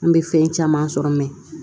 An bɛ fɛn caman sɔrɔ